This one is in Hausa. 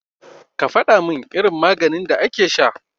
Ka faɗamin irin maganin da ake sha.